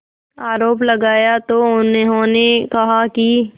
आरोप लगाया तो उन्होंने कहा कि